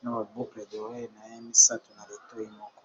na ba boucle d'oreille na ye misato na litoyi moko.